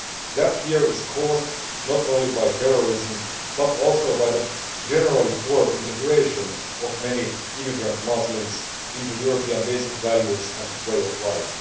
That fear is caused not only by terrorism but also by the generally poor integration of many immigrant Muslims in terms of European basic values and way of life.